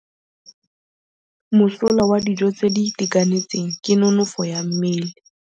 Mosola wa dijô tse di itekanetseng ke nonôfô ya mmele.